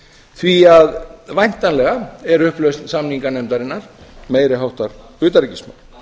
því að væntanlega er upplausn samninganefndarinnar meiri háttar utanríkismál